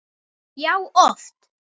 Já, oft.